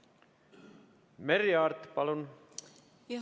Merry Aart, palun!